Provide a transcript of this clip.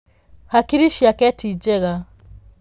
Hakiri ciake ti njega.